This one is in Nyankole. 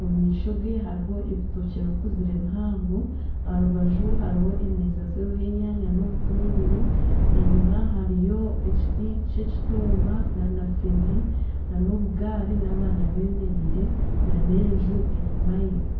Omumaisho ge hariho ebitokye bikuzire bihango aharubaju hariho emeeza ziriho enyaanya n'obutunguru, enyima hariyo ekiti ky'ekitooma nana fene, nana obugari n'abaana bemereire nana enju enyima ye.